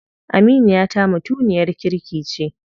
Aminiyata mutumiyar kirki ce.